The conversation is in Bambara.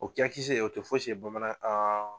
O kɛn kisɛ o tɛ fo si bamanan